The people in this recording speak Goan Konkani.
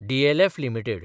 DLF limited